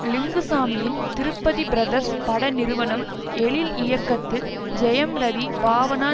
லிங்குசாமியின் திருப்பதி பிரதர்ஸ் பட நிறுவனம் எழில் இயக்கத்தில் ஜெயம் ரவி பாவனா